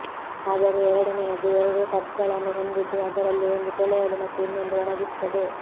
ಆದರೆ ಎರಡನೆಯದು ಎರಡು ಟಬ್ಗಳನ್ನು ಹೊಂದಿದ್ದು ಅದರಲ್ಲಿ ಒಂದು ತೊಳೆಯಲು ಮತ್ತು ಇನ್ನೊಂದು ಒಣಗಿಸುತ್ತದೆ